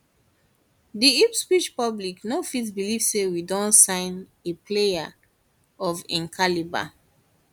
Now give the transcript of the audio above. di ipswich public no fit believe say we don sign a player of im caliber